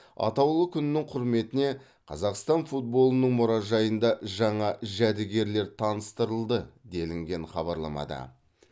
атаулы күннің құрметіне қазақстан футболының мұражайында жаңа жәдігерлер таныстырылды делінген хабарламада